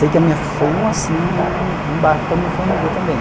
Sei que a minha, foi um assim, um baque para a minha família também.